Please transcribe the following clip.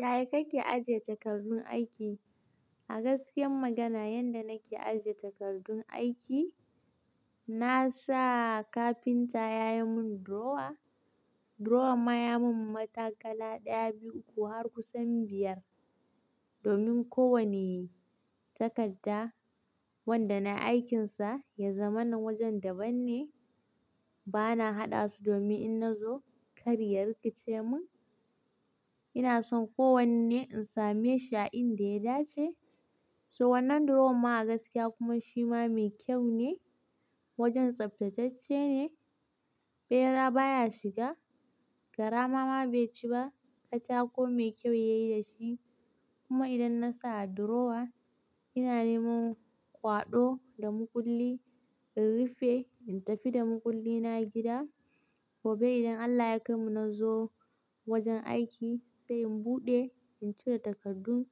Yaya kake ajiye takardun aiki? A gaskiya magana, yanda nake ajiye takardun aiki, na sa kafinta ya yi mun drawer. Drawer ma ya mun matakala daya, biyu, uku har kusan biyar. Domin ko wani takarda wanda na aikinsa, ya zama na wajen daban ne. Bana haɗa su domin in na zo, karya riƙe ce mun. Ina son kowanne in same shi a inda ya dace. To wannan drawer ma a gaskiya kuma shi ma mai kyau ne. Wajen tsaftatacce ne, ɓera baya shiga, garama ma bai ci ba. Katako mai kyau ya yi da shi. Kuma idan na sa a drawer, ina neman kwaɗo da makulli in rufe, in tafi da makulli na gida. Gobe idan Allah ya kaimanu na zo wajen aiki, sai in buɗe, in cire takardun